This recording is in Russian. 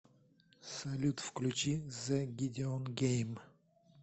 салют включи зэ гидеон гейм